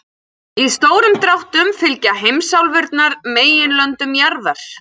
Í stórum dráttum fylgja heimsálfurnar meginlöndum jarðar.